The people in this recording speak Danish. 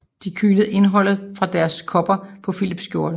De kyler indholdet fra deres kopper på Filips skjorte